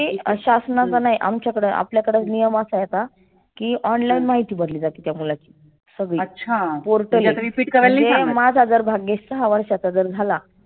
शासनाच नाही आमच्या कड आपल्याकड नियम असा आहे आता. की online माहिती भरली जाते त्या मुलाची. सगळी portal आहे. म्हणजे माझा जर भाग्येश दहा वर्षाचा जर झाला